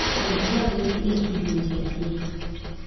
pog jagowi e kidienje adek